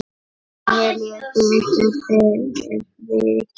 Mér líður betur fyrir vikið.